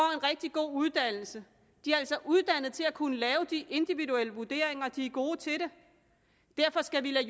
rigtig god uddannelse de er altså uddannet til at kunne lave de individuelle vurderinger og de er gode til det derfor skal vi lade